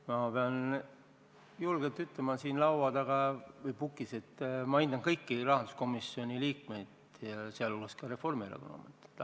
Ma pean julgelt ütlema siin kõnetoolis, et ma hindan kõiki rahanduskomisjoni liikmeid, sh Reformierakonna esindajaid.